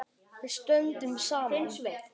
Við stöndum saman.